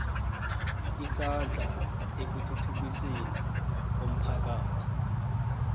isandla ekuthuthukisweni komphakathi